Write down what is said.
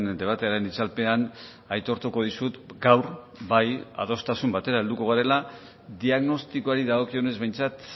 debatearen itzalpean aitortuko dizut gaur bai adostasun batera helduko garela diagnostikoari dagokionez behintzat